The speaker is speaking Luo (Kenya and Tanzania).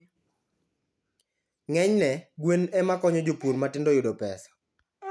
Ng'enyne, gwen ema konyo jopur matindo yudo pesa.